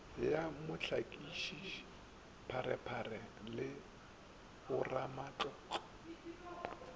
ya mohlakiši pharephare le bamatlotlo